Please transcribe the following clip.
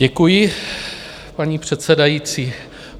Děkuji, paní předsedající.